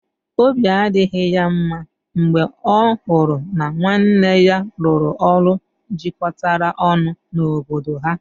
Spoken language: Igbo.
Obi adịghị ya mma mgbe ọ hụrụ na nwanne ya rụrụ ụlọ jikọtara ọnụ n'obodo ha.